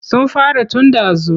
Sun fara tun ɗazu.